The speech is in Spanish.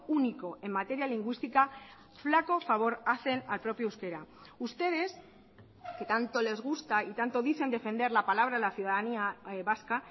único en materia lingüística flaco favor hacen al propio euskera ustedes que tanto les gusta y tanto dicen defender la palabra la ciudadanía vasca